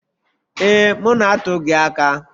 Ee, m na-atụ gị aka.